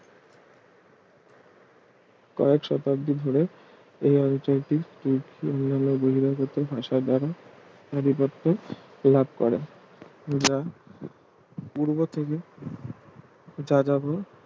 কয়েক শতাব্দী ধরে এই অঞ্চলটি অন্যান্য বহিরাগত ভাষা দ্বারা আধিপত্য লাভ করে যা পূর্ব থেকে যাযাবর